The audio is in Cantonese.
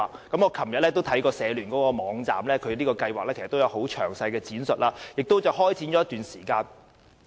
我昨天曾瀏覽社聯的網站，當中詳細闡述了有關計劃，亦已開始了一段時間。